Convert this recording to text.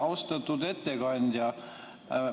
Austatud ettekandja!